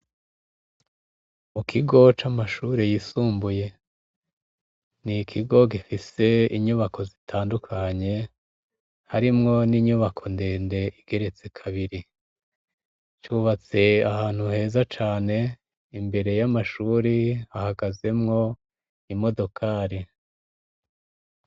Mu kigo c'amashure yisumbuye. Ni ikigo gifise inyubako zitandukanye, harimwo n'inyubako ndende igeretse kabiri. Cubatse ahantu heza cane, imbere y'amashure hahagazemwo imodokari.